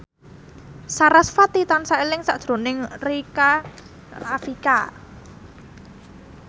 sarasvati tansah eling sakjroning Rika Rafika